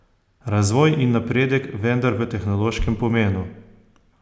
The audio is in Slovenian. Razvoj in napredek, vendar v tehnološkem pomenu.